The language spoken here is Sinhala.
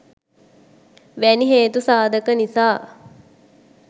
වැනි හේතු සාධක නිසා